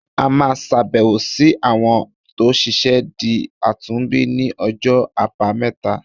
A máa ṣàbẹ̀wò sí àwọn tó ṣẹ̀ṣẹ̀ di àtúnbí ní ọjọ́ àbámẹ́ta.